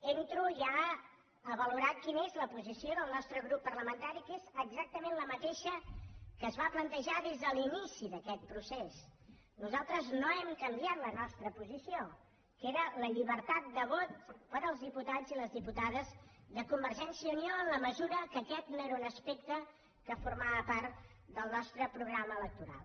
entro ja a valorar quina és la posició del nostre grup parlamentari que és exactament la mateixa que es va plantejar des de l’inici d’aquest procés nosaltres no hem canviat la nostra posició que era la llibertat de vot per als diputats i les diputades de convergència i unió en la mesura que aquest no era un aspecte que formava part del nostre programa electoral